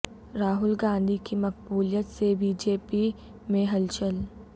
راہل گاندھی کی مقبولیت سے بی جے پی میں ہلچل